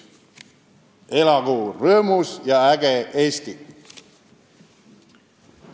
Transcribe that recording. Elagu rõõmus ja äge Eesti!